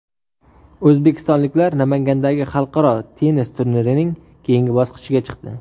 O‘zbekistonliklar Namangandagi xalqaro tennis turnirining keyingi bosqichiga chiqdi.